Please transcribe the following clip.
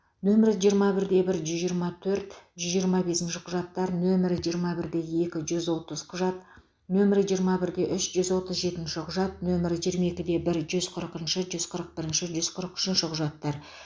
нөмірі жиырма бірде бір жүз жирыма төрт жүз жиырма бесінші құжаттар нөмірі жиырма бірде екі жүз отыз құжат нөмірі жиырма бірде үш жүз отыз жетінші құжат нөмірі жиырма екіде бір жүз қырықыншы жүз қырық бірінші жүз қырық үшінші құжаттар